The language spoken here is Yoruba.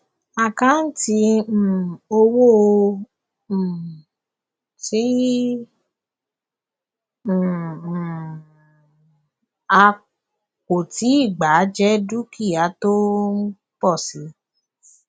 àkáǹtì um owó um tí um um a kò tíì gbà jẹ dúkìá tó ń pọ síi